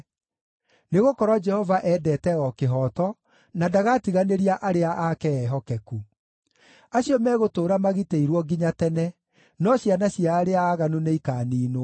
Nĩgũkorwo Jehova endete o kĩhooto, na ndagatiganĩria arĩa ake ehokeku. Acio megũtũũra magitĩirwo nginya tene, no ciana cia arĩa aaganu nĩikaniinwo.